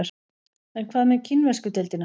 En hvað með kínversku deildina?